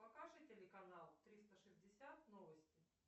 покажи телеканал триста шестьдесят новости